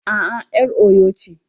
A'a, 'yar Oyo ce